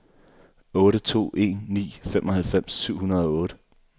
otte to en ni femoghalvfems syv hundrede og otte